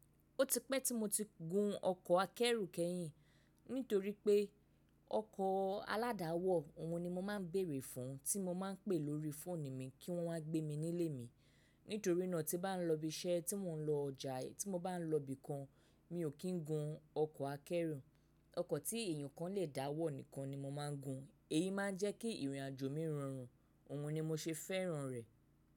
Ó ti pẹ́ tí mo ti gun ọkọ̀ akẹ́rù kẹ́yìn nítorí pé ọkọ̀ aládàáwọ̀ òhun ni mo máa ń béèrè fún, tí mo máa ń pè lórí fóònù mi kí wọ́n wá gbé mi nílé mi. Nítorí náà tí bá ń lọ ibi iṣẹ́, tí mò ń lọ ọjà, tí mo bá ń lọ ibìkan, mi ò kí ń gun ọkọ̀ akẹ́rù. Ọkọ̀ tí èèyàn kan lè dá wọ̀ nìkan ni mo máa ń gun. Èyí máa ń jẹ́ kí ìrìnàjò mi rọrùn, òhun ni mo ṣe fẹ́ràn rẹ̀.